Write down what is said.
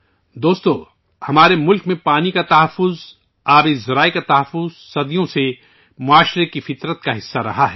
ساتھیو ، ہمارے ملک میں پانی کا تحفظ، آبی ذرائع کا تحفظ، صدیوں سے معاشرے کی فطرت کا حصہ ہے